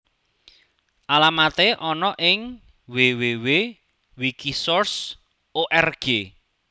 Alamaté ana ing www wikisource org